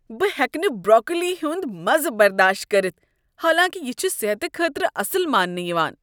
بہٕ ہیٚکہٕ نہٕ بروکولی ہنٛد مزٕ برداشت کٔرتھ حالانکہ یہ چھ صحت خٲطرٕ اصل ماننہٕ یوان۔